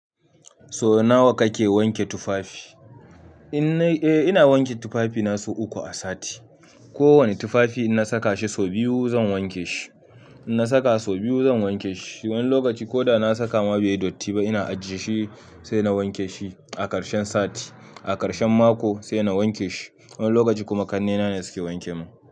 So nawa kake wanke tufafi? Eh ina wanke tufafi na sau uku a sati. Ko wani tufafi ina saka shi so biyu zan wanke shi. In na saka sau, biyu zan wanke shi. Wani lokaci ko da na saka ma baiyi dotti ba ina ajjiye shi, sai na wanke shi, a karshen sati. A karshen mako sai na wanke shi. Wani lokaci kuma kannena ne suke wanke mun.